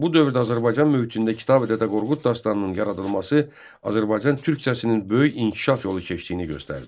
Bu dövrdə Azərbaycan mühitində Kitabi-Dədə Qorqud dastanının yaradılması Azərbaycan türkcəsinin böyük inkişaf yolu keçdiyini göstərdi.